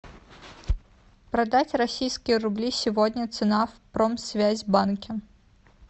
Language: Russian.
продать российские рубли сегодня цена в промсвязьбанке